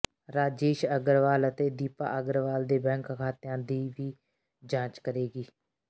ਰਾਜੇਸ਼ ਅਗਰਵਾਲ ਤੇ ਦੀਪਾ ਅਗਰਵਾਲ ਦੇ ਬੈਂਕ ਖਾਤਿਆਂ ਦੀ ਵੀ ਜਾਂਚ ਕਰੇਗੀ